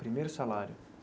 Primeiro salário.